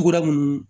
Tuguda munnu